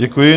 Děkuji.